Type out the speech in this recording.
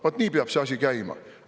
Vaat nii peab see asi käima!